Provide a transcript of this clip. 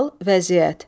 Hal, vəziyyət.